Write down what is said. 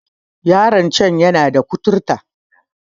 Yaron can yana da kuturta